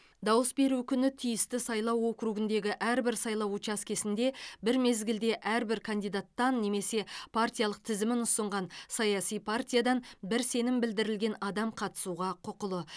дауыс беру күні тиісті сайлау округіндегі әрбір сайлау учаскесінде бір мезгілде әрбір кандидаттан немесе партиялық тізімін ұсынған саяси партиядан бір сенім білдірілген адам қатысуға құқылы